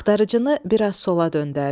Axtarıcını bir az sola döndərdi.